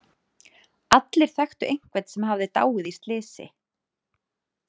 Allir þekktu einhvern sem hafði dáið í slysi.